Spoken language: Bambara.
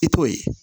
I t'o ye